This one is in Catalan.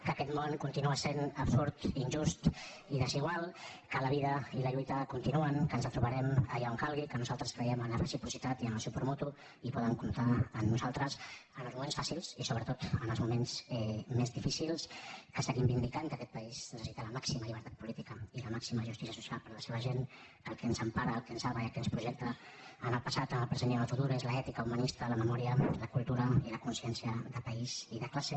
que aquest món continua sent absurd injust i desigual que la vida i la lluita continuen que ens retrobarem allà on calgui que nosaltres creiem amb la reciprocitat i amb el suport mutu i poden comptar amb nosaltres en els moments fàcils i sobretot en els moments més difícils que seguim vindicant que aquest país necessita la màxima llibertat política i la màxima justícia social per la seva gent que el que ens empara el que ens salva i el que ens projecta en el passat en el present i en el futur és l’ètica humanista la memòria la cultura i la consciència de país i de classe